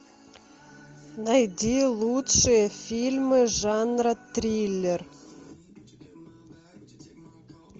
найди лучшие фильмы жанра триллер